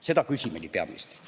Seda küsimegi peaministrilt.